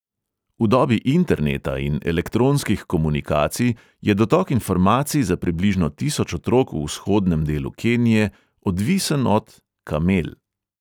V dobi interneta in elektronskih komunikacij je dotok informacij za približno tisoč otrok v vzhodnem delu kenije odvisen od – kamel.